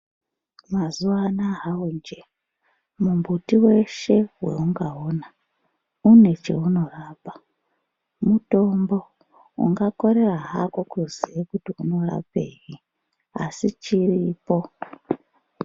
Mazuvanaya mumbiti weshe waungaona une chaunorapa mutombo ungakorere halo kuziya kuti unorapei asi chiripo.